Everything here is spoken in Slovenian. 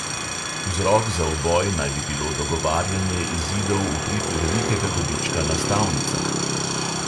Vzrok za uboj naj bi bilo dogovarjanje izidov v prid velikega dobička na stavnicah.